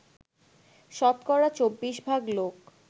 শতকরা ২৪ ভাগ লোক